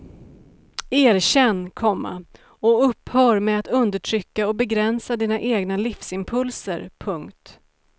Erkänn, komma och upphör med att undertrycka och begränsa dina egna livsimpulser. punkt